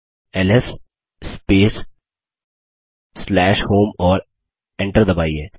LS space home और Enter दबाइए